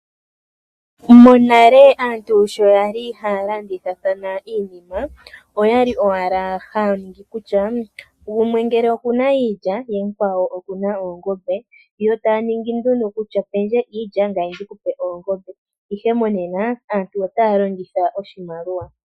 Monale aantu sho yali haya landithathna iinima , oyali owala haya ningi kutya gumwe ngele okuna iilya ye mukwawo okuna oongombe, yo taya ningi nduno kutya pendje iilya ngame ndikupe oongombe. Ihe monena aantu otaya longitha oshimaliwa.